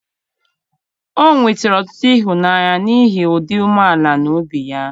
o nwetara ọtụtụ ịhụnanya n'ihi ịdị umeala n'obi ya.